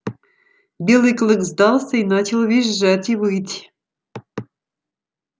белый клык сдался и начал визжать и выть